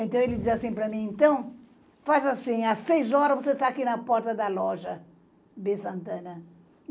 Então, ele diz assim para mim, então, faz assim, às seis horas você está aqui na porta da loja B. Santana.